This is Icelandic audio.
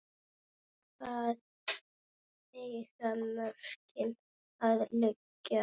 Hvar eiga mörkin að liggja?